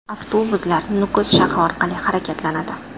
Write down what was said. Avtobuslar Nukus shahri orqali harakatlanadi.